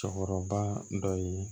Cɔkɔrɔba dɔ ye